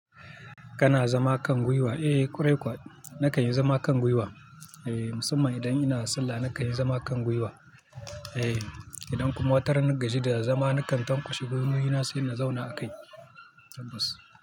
Kana zama kan gwiwa? Eh, ƙwarai kuwa. Na kan yi zama kan gwiwa. Eh, musamman idan ina sallah, na kan yi zama kan gwiwa. Eh, idan kuma wataran na gaji da zama na kan tankwashe gwiwoyi na sai in zauna a kai. Bas.